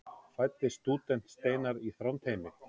fæddist stúdent steinar í þrándheimi